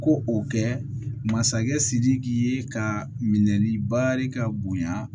Ko o kɛ masakɛ sidiki ye ka minɛ ni barika bonyan